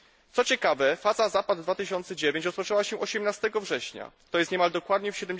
Co ciekawe, faza Zapad 2009 rozpoczęła się 18 września, to jest niemal dokładnie w